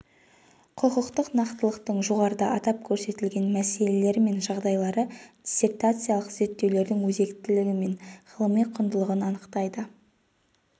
құқықтық нақтылықтың жоғарыда атап көрсетілген мәселелері мен жағдайлары диссертациялық зерттеудің өзектілігі мен ғылыми құндылығын анықтайды